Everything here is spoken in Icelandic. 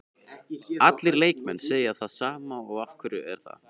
Allir leikmenn segja það sama og af hverju er það?